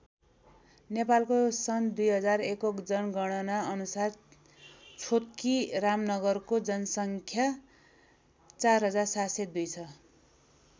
नेपालको सन् २००१ को जनगणना अनुसार छोतकी रामनगरको जनसङ्ख्या ४७०२ छ।